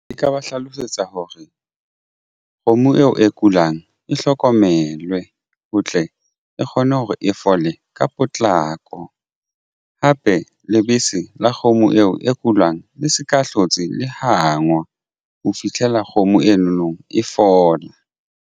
E ka ba hlalosetsa hore kgomo eo e kulang e hlokomelwe ho tle e kgone hore e fole ka potlako hape lebese la kgomo eo e kulang le se ka hlotse le hangwa ho fihlela kgomo eno no e fola.